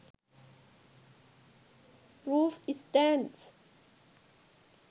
roof stands